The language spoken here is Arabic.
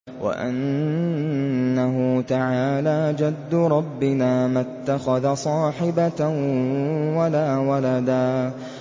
وَأَنَّهُ تَعَالَىٰ جَدُّ رَبِّنَا مَا اتَّخَذَ صَاحِبَةً وَلَا وَلَدًا